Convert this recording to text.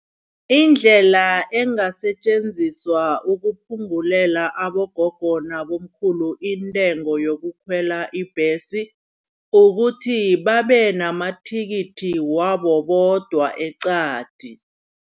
Indlela engasetjenziswa ukuphungulela abogogo nabobamkhulu intengo yokukhwela ibhesi. Kukuthi babe namathikithi wabo bodwa eqadi.